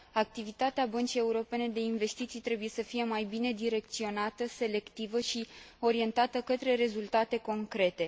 Activitatea Băncii Europene de Investiții trebuie să fie mai bine direcționată, selectivă și orientată către rezultate concrete.